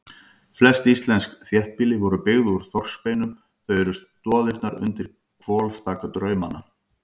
Flest íslensk þéttbýli voru byggð úr þorskbeinum, þau eru stoðirnar undir hvolfþak draumanna.